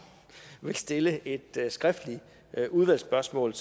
vil stille et skriftligt udvalgsspørgsmål